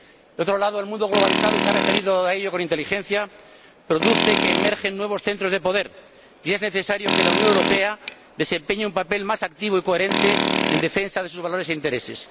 Por otro lado, el mundo globalizado y se ha referido a ello con inteligencia hace que emerjan nuevos centros de poder y es necesario que la Unión Europea desempeñe un papel más activo y coherente en defensa de sus valores e intereses.